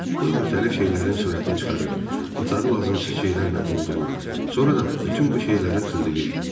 O müxtəlif şeylərin sürətini çıxarır, otağı lazımsız şeylərlə doldurur, sonra da bütün bu şeyləri tullayırdı.